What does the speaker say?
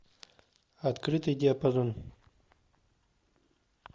открытый диапазон